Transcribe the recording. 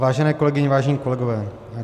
Vážené kolegyně, vážení kolegové.